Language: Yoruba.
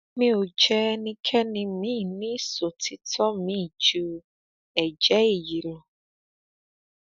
mi ò jẹ ẹnikẹni miín ní ìṣòtítọ miín ju èjé èyí lọ